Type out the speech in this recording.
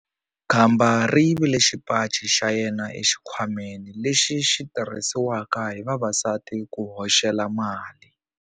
Khamba ri yivile xipaci xa yena exikhwameni lexi xi tirhisiwaka hi vavasati ku hoxela mali.